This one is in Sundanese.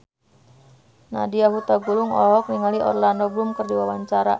Nadya Hutagalung olohok ningali Orlando Bloom keur diwawancara